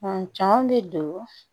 cɔn bɛ don